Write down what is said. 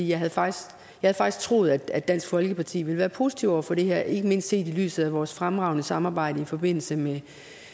jeg havde faktisk troet at dansk folkeparti ville være positive over for det her ikke mindst set i lyset af vores fremragende samarbejde i forbindelse med